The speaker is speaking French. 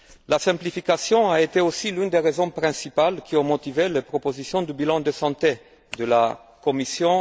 La simplification a été aussi l'une des raisons principales qui ont motivé les propositions du bilan de santé de la Commission.